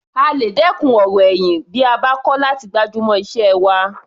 A lè dẹ́kun ọ̀rọ̀ ẹ̀yìn tí a bá kọ́ láti gbájúmọ́ iṣẹ́ wa.